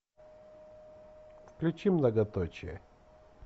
включи многоточие